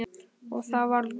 Og það varð úr.